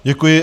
Děkuji.